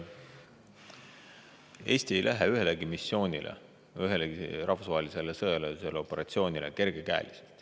Eesti ei lähe ühelegi missioonile, ühelegi rahvusvahelisele sõjalisele operatsioonile kerge käega.